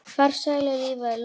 Farsælu lífi er lokið.